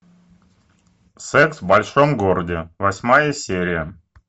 секс в большом городе восьмая серия